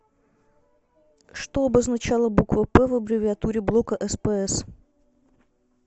что обозначала буква п в аббревиатуре блока спс